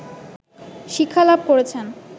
শিক্ষা লাভ করেছেন